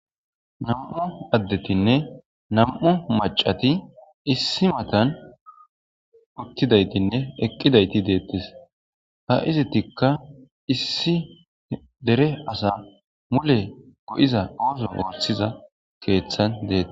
Nam'u addetine Nam'u maccati issi matan uttidayitinne eqqidayiti dettes ha izetika issi dere asa mulle go'iza oththo oththiza keththan dettes.